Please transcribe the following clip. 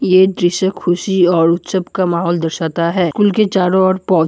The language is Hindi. यह द्श्य खुशी और उत्सव का माहौल दर्शाता है। उनके चारों ओर पौधे--